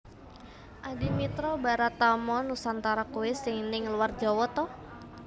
Adimitra Baratama Nusantara kui sing ning luar Jawa to?